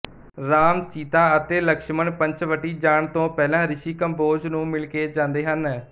ਰਾਮ ਸੀਤਾ ਅਤੇ ਲਕਸ਼ਮਣ ਪੰਚਵਟੀ ਜਾਣ ਤੋਂ ਪਹਿਲਾ ਰਿਸ਼ੀ ਕੰਭੋਜ ਨੂੰ ਮਿਲ ਕੇ ਜਾਂਦੇ ਹਨ